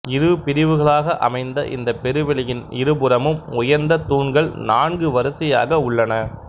இரு பிரிவுகளாக அமைந்த இந்தப் பெருவெளியின் இருபுறமும் உயர்ந்த தூண்கள் நான்கு வரிசையாக உள்ளன